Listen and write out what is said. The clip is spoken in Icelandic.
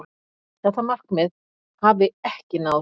Þetta markmið hafi ekki náðst.